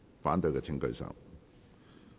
反對的請舉手。